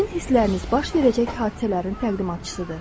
Sizin hissləriniz baş verəcək hadisələrin təqdimatçısıdır.